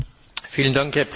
Herr Präsident!